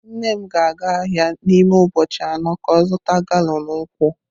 Nne m ga-aga ahia n'ime ubochi ano ka o zuta galọn nkwu.